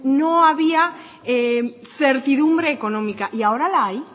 no había certidumbre económica y ahora la hay